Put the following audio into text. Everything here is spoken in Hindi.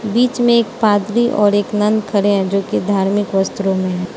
बीच में एक पादरी और एक नन खड़े हैं जो की धार्मिक वस्त्रों में है।